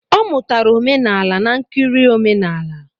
Ọ mụtara omenala n'nkiri omenala